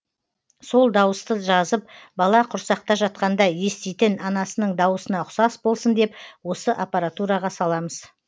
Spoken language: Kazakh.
сол дауысты жазып бала құрсақта жатқанда еститін анасының дауысына ұқсас болсын деп осы аппаратураға саламыз